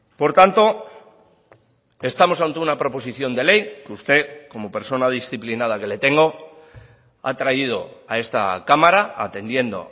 por tanto estamos ante una proposición de ley que usted como persona disciplinada que le tengo ha traído a esta cámara atendiendo